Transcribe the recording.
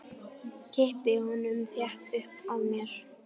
Kippi honum þétt upp að mér.